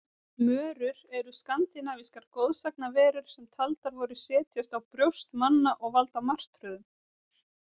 Mörur eru skandinavískar goðsagnaverur sem taldar voru setjast á brjóst manna og valda martröðum.